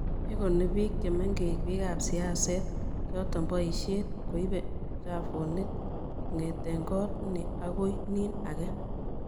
igoni biik chemengech biikap siaset choto boishet koibe tmchafuk kongete koot ni agoi nin age